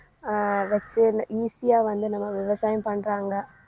அஹ் வெச்சு ந~ easy ஆ வந்து நம்ம விவசாயம் பண்றாங்க